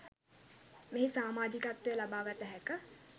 මෙහි සාමාජිකත්වය ලබාගත හැක